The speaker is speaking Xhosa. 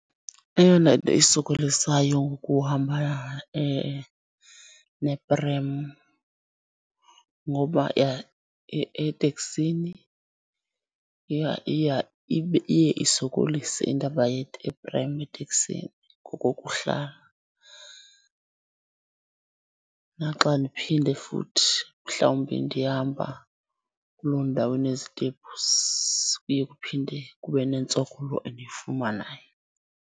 Eyona nto isokolisayo ngohamba neprem, ngoba eteksini iya, iya ibe iye isokolise indaba yeprem eteksini ngokokuhlala. Naxa ndiphinde futhi mhlawumbi ndihamba kuloo ndawo inezitepusi kuye kuphinde kube nentsokolo endiyifumanayo.